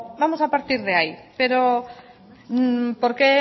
vamos a partir de ahí pero por qué